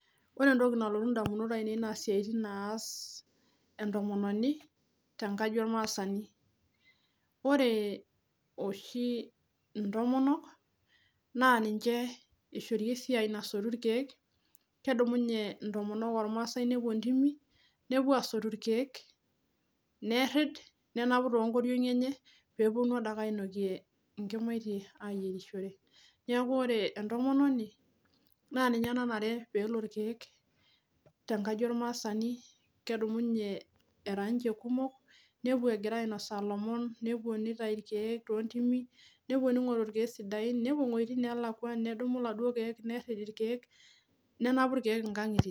ore entoki nalotu idamunot ainei naa isiaitin naas entomononi tengaji olmaasani naa niche ishori esiai nasotu ilkeek intomonok oo ilmasai nepuo asotu ilkeek, intomonok oo imasai, nerid nenapu too inkoriong'i enye pee epuonu adake ainokie inkimatie ayieishore neeku ore entomononi naa ninye nanare pee ele ilkeek tengaji olmaasani kedumunye erakumok nepuo iwejitin neelakuo nenapu ilkeek inkangitie.